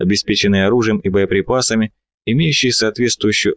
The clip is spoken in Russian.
обеспеченные оружием и боеприпасами имеющие соответствующую